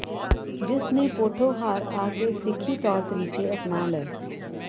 ਜਿਸ ਨੇ ਪੋਠੋਹਾਰ ਆ ਕੇ ਸਿੱਖੀ ਤੌਰ ਤਰੀਕੇ ਅਪਣਾ ਲਏ